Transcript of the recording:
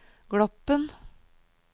Gloppen